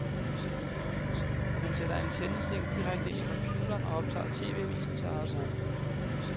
Man sætter antennestikket direkte ind i computeren og optager tv-avisen til eget brug.